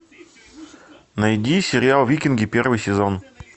найди сериал викинги первый сезон